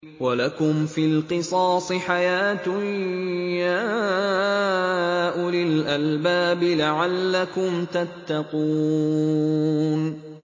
وَلَكُمْ فِي الْقِصَاصِ حَيَاةٌ يَا أُولِي الْأَلْبَابِ لَعَلَّكُمْ تَتَّقُونَ